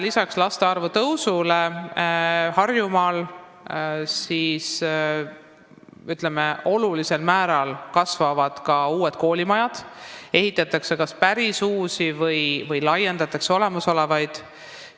Lisaks laste arvu kasvule Harjumaal on olulisel määral kasvanud ka koolimajade arv, ehitatakse kas päris uusi või laiendatakse olemasolevaid.